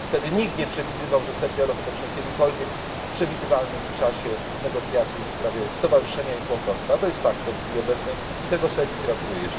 Wtedy nikt nie przewidywał, że Serbia rozpocznie kiedykolwiek w przewidywalnym czasie negocjacje w sprawie stowarzyszenia i członkostwa, a to jest faktem w chwili obecnej i tego Serbii gratuluję.